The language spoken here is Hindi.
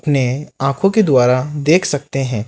इन्हें आंखों के द्वारा देख सकते हैं।